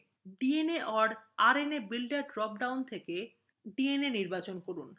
dna/rna builder drop down থেকে dna নির্বাচন করুন